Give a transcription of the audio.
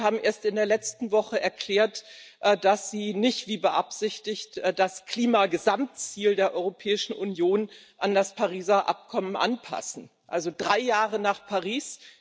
Sie haben erst in der letzten Woche erklärt, dass Sie nicht wie beabsichtigt das Klima Gesamtziel der Europäischen Union an das Pariser Abkommen anpassen also drei Jahre nach Paris.